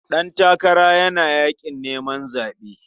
Ɗantakara yana yaƙin neman zaɓe.